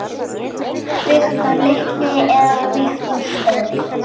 Viktor litli eða Victor stóri?